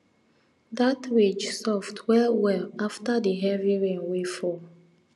dat ridge soft well well after di heavy rain wey fall